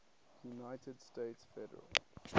united states federal